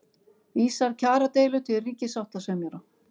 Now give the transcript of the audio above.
Vísar kjaradeilu til ríkissáttasemjara